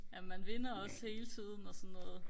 ja man vinder også hele tiden og sådan noget